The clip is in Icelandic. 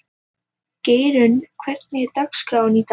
Geirrún, hvernig er dagskráin í dag?